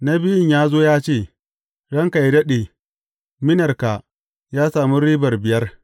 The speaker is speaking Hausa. Na biyun ya zo ya ce, Ranka yă daɗe, minarka ya sami ribar biyar.’